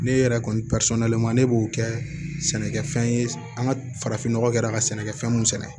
Ne yɛrɛ kɔni ne b'o kɛ sɛnɛkɛfɛn ye an ka farafinnɔgɔ kɛra ka sɛnɛkɛfɛn mun sɛnɛ